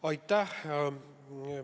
Aitäh!